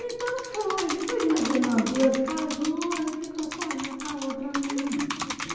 Então foi, depois minhas irmã duas casou, aí ficou só eu com a outra minha irmã, né?